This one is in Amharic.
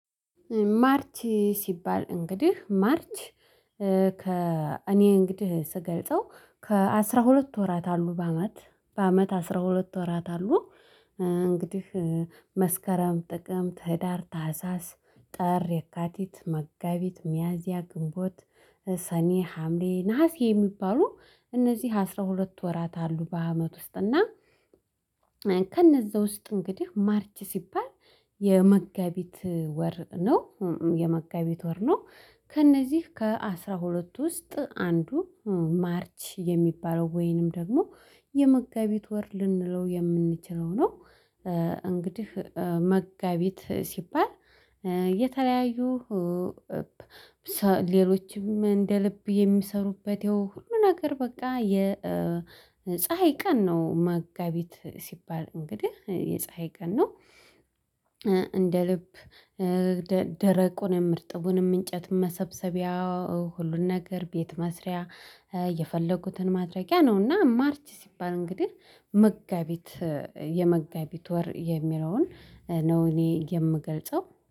ማርች ሲባል እንግዲህ ማርች ከ እኔ እንግዲህ ስገልጸው ከ አስራ ሁለት ወራት አሉ በአመት በአመት አስራ ሁለት ወራት አሉ። እንግዲህ መስከረም ጥቅም ህዳር ታህሳስ ጠር የካቲት መጋቢት ሚያዚያ ግንቦት ሰኔ ሀምሬ ነሀሴ የሚባሉ እነዚህ አስራ ሁለት ወራት አሉ በአመት ውስጥ እና። ከነዛ ውስጥ እንግዲህ ማርች ሲባል የመጋቢት ወር ነው። የመጋቢት ወር ነው። ከእነዚህ ከአሥራ ሁለትቱ ውስጥ አንዱ ማርች የሚባለው ወይንም ደግሞ የመጋቢት ወር ልንለው የምንችለው ነው። እንግዲህ መጋቢት ሲባል የተለያዩ ሌሎችም እንደ ልብ የሚሰሩበት ያው ሁሉ ነገር በቃ የፀሀይ ቀን ነው መጋቢት ሲባል እንግዲህ የፀሀይ ቀን ነው። እንደ ልብ ደ ደረቁንም እርጥቡንም እንጨት መሰብሰቢያ ሁሉን ነገር ቤት መስሪያ የፈለጉትን ማድረጊያ ነውና። ማርች ሲባል እንግዲህ መጋቢት የመጋቢት ወር የሚለውን ነው እኔ የምገልጸው